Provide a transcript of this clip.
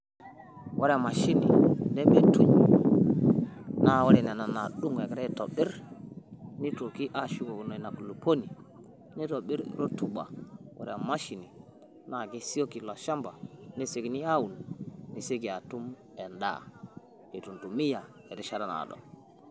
Ore emashini nemeituny', naa ore nena naadung' egira aitobirr nitoki aashukokino ina kulukuoni nitobirr rotuba, ore emashini naa kesioki ilo shamba nesiokini aaun, nisioki atum endaa eitu intumia erishata naado.